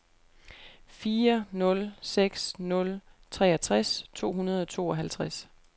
fire nul seks nul treogtres to hundrede og tooghalvtreds